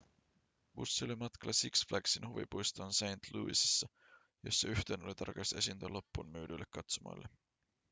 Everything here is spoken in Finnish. bussi oli matkalla six flagsin huvipuistoon st louisissa jossa yhtyeen oli tarkoitus esiintyä loppuunmyydyille katsomoille